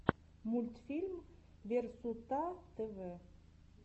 мультфильм версутатэвэ